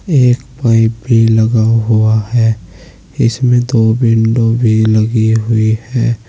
एक पाइप भी लगा हुआ है इसमें दो विंडो भी लगी हुई है।